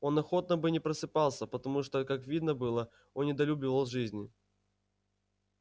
он охотно бы не просыпался потому что как видно было он недолюбливал жизни